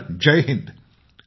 Sir जय हिंद ।